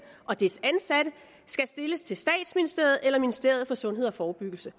og dets ansatte skal stilles til statsministeriet eller ministeriet for sundhed og forebyggelse